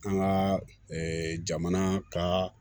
An ka jamana ka